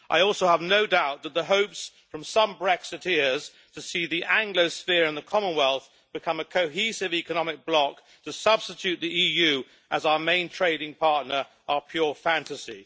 I also have no doubt that the hopes from some Brexiteers to see the Anglosphere and the Commonwealth become a cohesive economic bloc to substitute the EU as our main trading partner are pure fantasy.